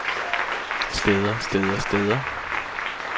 steder steder steder